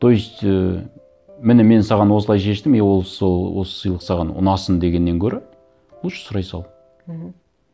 то есть ы міне мен саған осылай шештім и ол сол осы сыйлық саған ұнасын дегеннен гөрі лучше сұрай сал мхм